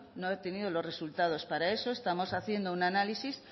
no ha obtenido los resultados para eso estamos haciendo un análisis